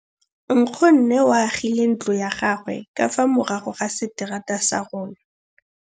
Nkgonne o agile ntlo ya gagwe ka fa morago ga seterata sa rona.